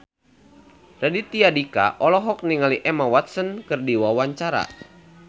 Raditya Dika olohok ningali Emma Watson keur diwawancara